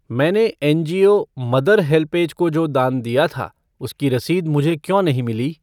मैंने NGO mother HelpAge को जो दान दिया था, उसकी रसीद मुझे क्यों नहीं मिली?